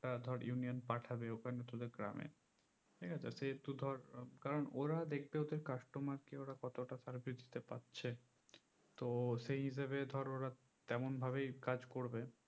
একটা ধর ইউনিয়ান পাঠাবে ওখানে তোদের গ্রামে ঠিকাছে সেহুতু ধর কারণ ওরা দেখবে ওদের customer কে ওরা কতটা service দিতে পাচ্ছে তো সেই হিসেবে ধর ওরা তেমন ভাবেই কাজ করবে